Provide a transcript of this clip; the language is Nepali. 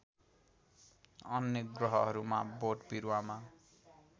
अन्य ग्रहहरूमा बोटबिरुवामा